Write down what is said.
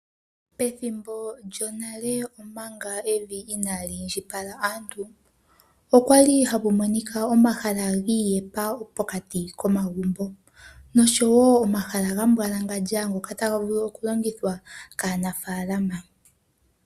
Pethimbo lyonale, omanga evi inaali indjipala aantu, okwa li hapu monika omahala giiyepa pokati komagumbo, nosho wo omahala ga mbwalangandja ngoka taga vulu okulongithwa kaanafaalama.